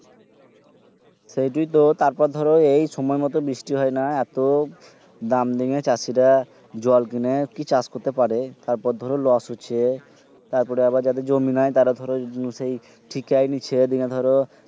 সেইটোই তো তারপর ধরো এই সময় মতো বৃষ্টি হয় না এত দাম দিয়ে চাষীরা জল কিনে কি চাষ করতে পারে তারপর ধরো লস হছে তারপরে আবার যাদের জমি নাই তারা ধরো সেই ঠিকাই নিছে দিঙ্গে ধরো